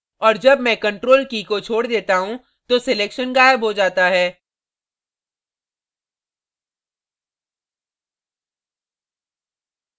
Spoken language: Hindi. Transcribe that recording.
और जब मैं ctrl की key को छोड़ देता हूँ तो selection गायब हो जाता है